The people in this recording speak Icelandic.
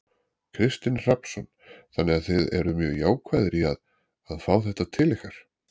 Kristinn Hrafnsson: Þannig að þið eruð mjög jákvæðir í að, að fá þetta til ykkar?